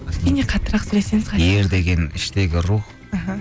кішкене қаттырақ сөйлесеңіз ер деген іштегі рух аха